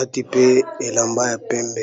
komi tala ndenge abongi.